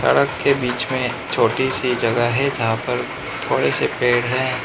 सड़क के बीच में छोटी सी जगह है जहां पर थोड़े से पेड़ हैं।